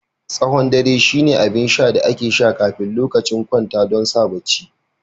Tsawon dare shine abin sha da ake sha kafin lokacin kwanta don sa barci